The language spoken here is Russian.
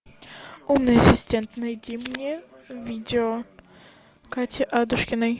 умный ассистент найди мне видео кати адушкиной